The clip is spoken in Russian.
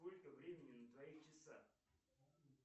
сколько времени на твоих часах